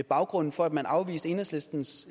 baggrunden for at man afviste enhedslistens